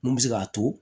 Mun bɛ se k'a to